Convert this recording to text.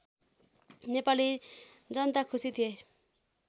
नेपाली जनता खुसी थिए